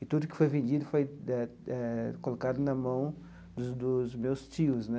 E tudo que foi vendido foi eh eh colocado na mão dos dos meus tios né.